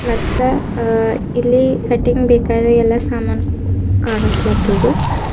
ಮತ್ತ ಅ ಇಲ್ಲಿ ಕಟಿಂಗ್ ಬೇಕಾದ ಎಲ್ಲ ಸಾಮಾನ್ ಕಾನಸ್ಲತ್ತುದು.